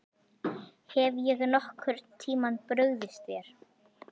Hef ég nokkurn tíma brugðist þér?